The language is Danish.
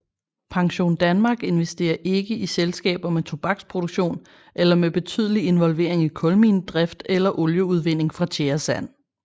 PensionDanmark investerer ikke i selskaber med tobaksproduktion eller med betydelig involvering i kulminedrift eller olieudvinding fra tjæresand